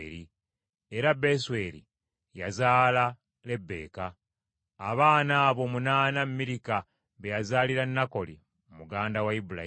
Era Besweri yazaala Lebbeeka. Abaana abo omunaana Mirika be yazaalira Nakoli muganda wa Ibulayimu.